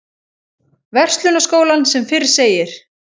Verslunarskólann sem fyrr segir.